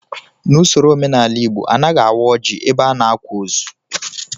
N'usoro omenala Igbo, anaghị awa ọjị ebe a na-akwa ozu